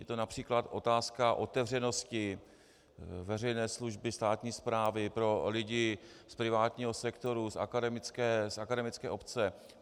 Byla to například otázka otevřenosti veřejné služby, státní správy pro lidi z privátního sektoru, z akademické obce.